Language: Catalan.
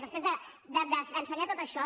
després d’ensenyar tot això